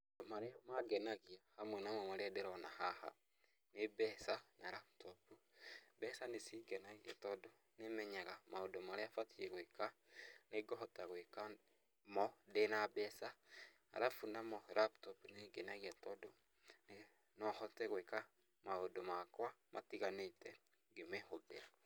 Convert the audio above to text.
Marĩa mangenagia hamwe namo marĩa ndĩrona haha nĩ mbeca na raputopu. Mbeca nĩ cingenagia tondũ, nĩmenyaga maũndu marĩa batiĩ gwĩka nĩ ngũhota gwika mo ndĩna mbeca. Arabu namo laptop nĩ ĩngenagia tondũ, no hote gwĩka maũndũ makwa matiganĩte ngĩmĩhũthĩra.